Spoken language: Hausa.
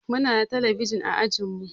Muna da talabijin a ajinmu